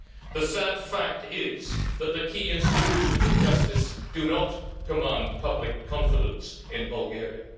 The sad fact is that the key institutions of justice do not command public confidence in Bulgaria.